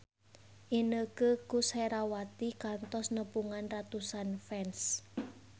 Inneke Koesherawati kantos nepungan ratusan fans